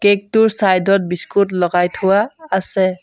Cake টোৰ side ত biscuit লগাই থোৱা আছে।